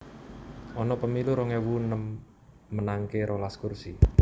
Ana pemilu rong ewu enem menangaké rolas kursi